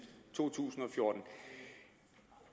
to tusind og fjorten